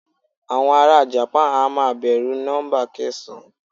Àwọn ará japan a máa bẹ̀rù nọ́ḿbà kẹsàn-án.